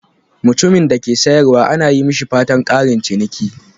Mutumin da ke sayarwa ana yi mishi fatan "ƙarin ciniki."